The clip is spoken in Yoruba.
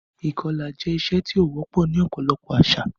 Ìkọla jẹ iṣe ti ó wọpọ ni ọpọlọpọ àwọn àṣà